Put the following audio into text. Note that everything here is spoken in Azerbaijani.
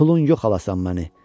Pulun yox, alasan məni.